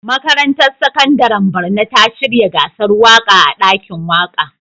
Makarantar Sakandaren Borno ta shirya gasar waƙa a ɗakin waƙa.